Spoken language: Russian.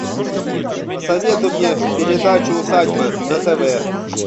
посоветуй мне передачу усадьба на тв